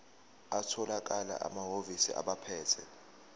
atholakala emahhovisi abaphethe